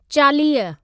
चालीह